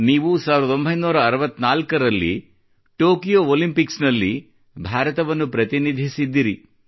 ನೀವು 1964 ನಲ್ಲಿ Tokyo Olympics ನಲ್ಲಿ ಭಾರತವನ್ನು ಪ್ರತಿನಿಧಿಸಿದ್ದಿರಿ